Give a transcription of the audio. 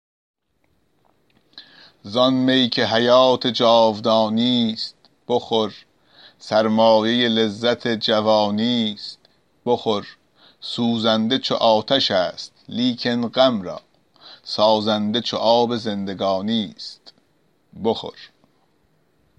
زآن می که حیات جاودانیست بخور سرمایه لذت جوانی است بخور سوزنده چو آتش است لیکن غم را سازنده چو آب زندگانی است بخور